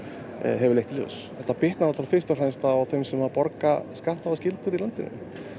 hefur leitt í ljós þetta bitnar á þeim sem borga skatta og skyldur í landinu